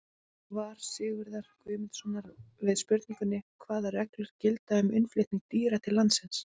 Svar Sigurðar Guðmundssonar við spurningunni Hvaða reglur gilda um innflutning dýra til landsins?